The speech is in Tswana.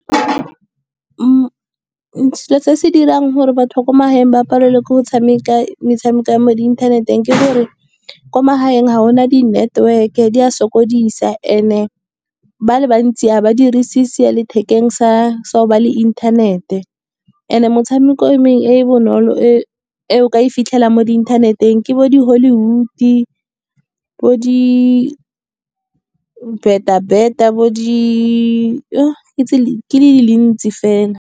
So se dirang gore batho ba ko magaeng ba palelwe ke go tshameka metshameko ya mo inthaneteng, ke gore ko magaeng ga ona di network e di a sokodisa. And-e ba le bantsi ga ba dirise , sa go ba le inthanete, and-e motshameko e e bonolo e o ka e fitlhelang mo inthaneteng, ke bo di hollywood-i, bo di-beta-beta, bo di ke tse di ntsi fela.